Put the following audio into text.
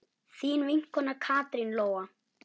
Þín vinkona Katrín Lóa.